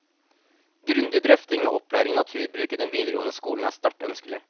Grundig drøfting av opplæring i naturbruk i den videregående skolen er sterkt ønskelig.